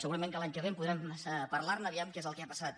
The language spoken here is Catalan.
segurament que l’any que ve podrem parlar·ne a veure què és el que ha passat